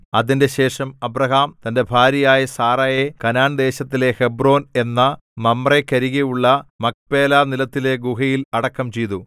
അതിന്‍റെശേഷം അബ്രാഹാം തന്റെ ഭാര്യയായ സാറായെ കനാൻദേശത്തിലെ ഹെബ്രോൻ എന്ന മമ്രേക്കരികെയുള്ള മക്പേലാ നിലത്തിലെ ഗുഹയിൽ അടക്കം ചെയ്തു